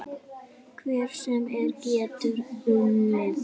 Hver sem er getur unnið.